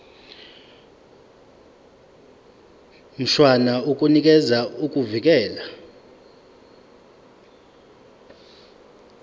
mshwana unikeza ukuvikelwa